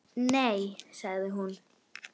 Nei sagði hún.